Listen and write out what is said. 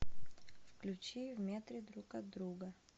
включи в метре друг от друга